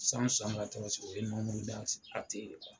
o ye